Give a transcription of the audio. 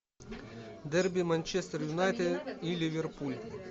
дерби манчестер юнайтед и ливерпуль